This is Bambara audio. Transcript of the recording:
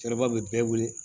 Cɛkɔrɔba bɛ bɛɛ wele